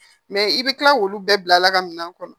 Mɛ i bɛ kila k'olu bɛɛ bila ka minan kɔnɔ